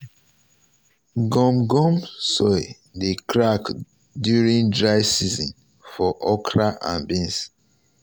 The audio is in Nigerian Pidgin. gum um gum um soil dey crack during dry um season for okra and beans.